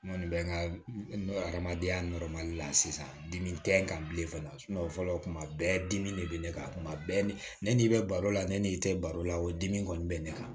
N kɔni bɛ n ka hadamadenya la sisan dimi tɛ n kan bilen fana fɔlɔ kuma bɛɛ dimi de bɛ ne kan kuma bɛɛ ni n'i bɛ baro la ne n'i tɛ baro la o dimi kɔni bɛ ne kan